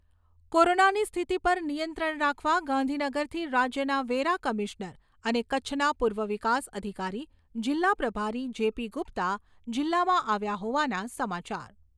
કોરોનાની સ્થિતિ પર નિયંત્રણ રાખવા ગાંધીનગરથી રાજ્યના વેરા કમિશ્નર અને કચ્છના પૂર્વ વિકાસ અધિકારી જિલ્લા પ્રભારી જેપી ગુપ્તા જિલ્લામાં આવ્યા હોવાના સમાચાર